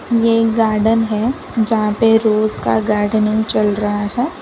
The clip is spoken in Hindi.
ये एक गार्डन है जहां पे रोज का गार्डेनिंग चल रहा है।